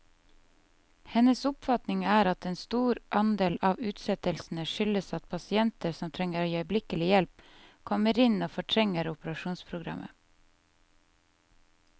Hennes oppfatning er at en stor andel av utsettelsene skyldes at pasienter som trenger øyeblikkelig hjelp, kommer inn og fortrenger operasjonsprogrammet.